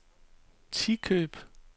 Tikøb